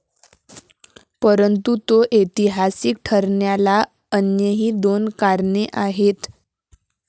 परंतु तो ऐतिहासिक ठरण्याला अन्यही दोन कारणे आहेत.